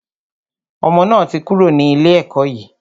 Ọmọ náà ti kúrò ní ilé ẹkọ́ yìí.